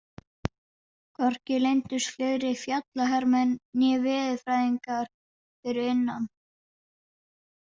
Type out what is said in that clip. Hvorki leyndust fleiri fjallahermenn né veðurfræðingar fyrir innan.